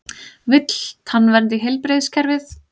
Vill tannvernd í heilbrigðiskerfið